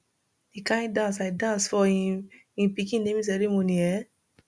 the kin dance i dance for im im pikin naming ceremony eh